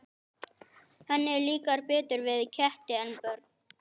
Henni líkar betur við ketti en börn.